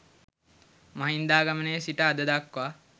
මහින්දාගමනයේ සිට අද දක්වා